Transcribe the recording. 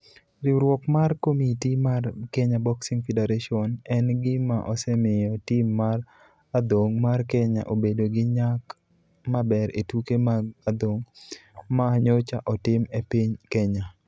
Riwruok mar komiti mar Kenya Boxing Federation en gima osemiyo tim mar adhong' mar Kenya obedo gi nyak maber e tuke mag adhong' ma nyocha otim e piny Kenya.